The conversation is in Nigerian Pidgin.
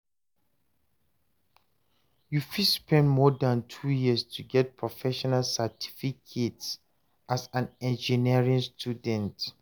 you fit spend more than 2 years to get professional certificate as an engineering student